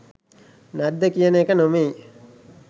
නැද්ද කියන එක නෙමෙයි